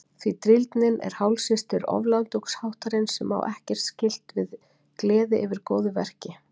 Því drýldnin er hálfsystir oflátungsháttarins sem á ekkert skylt við gleði yfir góðu verki.